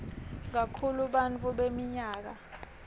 kakhulu bantfu beminyaka